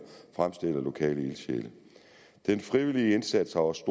opstillet af lokale ildsjæle den frivillige indsats har også